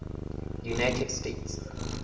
united states